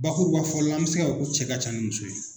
Bakurubafɔ la an mi se k'a fɔ cɛ ka can ni muso ye.